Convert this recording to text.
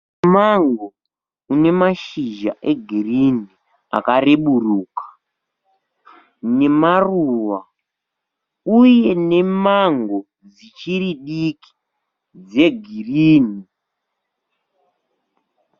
Mumango une mashizha egirini akareburuka, nemaruva, uye nemango dzichiri diki dzegirini.